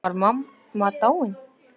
Var mamma dáin?